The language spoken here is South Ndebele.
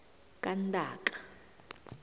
kantaka